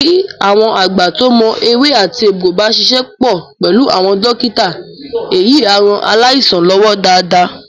Bí àwọn àgbà tó mọ ewé àti egbò bá ṣíṣe pọ̀ pẹ̀lú àwọn dọ́kítà èyí a rán aláìsàn lọ́wọ́ dáadáa